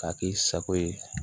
K'a k'i sago ye